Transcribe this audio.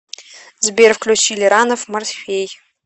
сбер включи лиранов морфей